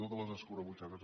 totes les escurabutxaques